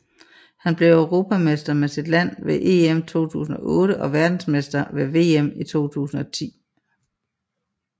Han blev europamester med sit land ved EM 2008 og verdensmester ved VM i 2010